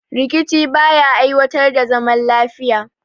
Rikici ba ya aiwatar da zaman lafiya